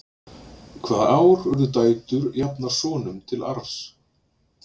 hvaða ár urðu dætur jafnar sonum til arfs